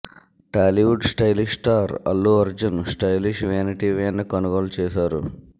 Tollywood stylish star Allu Arjun stylish vanity van ని కొనుగోలు చేశారు